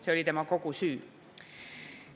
See oli kogu tema süü.